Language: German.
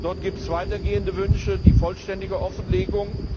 Dort gibt es weitergehende Wünsche, nämlich die vollständige Offenlegung.